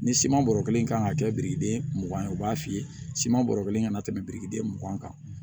Ni siman bɔrɔ kelen kan ka kɛ birikiden mugan ye u b'a f'i ye siman bɔrɔ kelen ka na tɛmɛ birikiden mugan kan